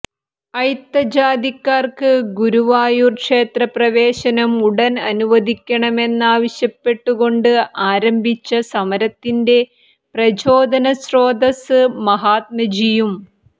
അയിത്തജാതിക്കാർക്ക് ഗുരുവായൂർ ക്ഷേത്രപ്രവേശനം ഉടൻ അനുവദിക്കണമെന്നാവശ്യപ്പെട്ടുകൊണ്ട് ആരംഭിച്ച സമരത്തിന്റെ പ്രചോദനസ്രോതസ്സ് മഹാത്മജിയും